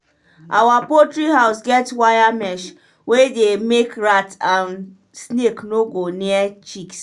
our poultry house get wire mesh wey dey make rat and snake no go near chicks.